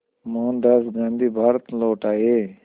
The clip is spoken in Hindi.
मोहनदास गांधी भारत लौट आए